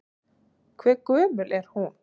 Hve gömul er hún?